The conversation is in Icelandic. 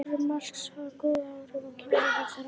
Sjálfstraust Marks hafði góð áhrif á kynlíf þeirra.